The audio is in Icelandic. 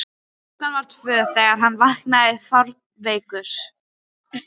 klukkan var tvö þegar hann vaknaði fárveikur.